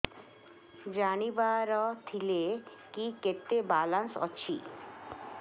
ଜାଣିବାର ଥିଲା କି କେତେ ବାଲାନ୍ସ ଅଛି